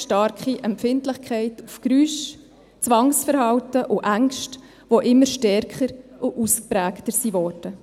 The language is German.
Starke Empfindlichkeit auf Geräusche, Zwangsverhalten und Ängste, die immer stärker und ausgeprägter wurden.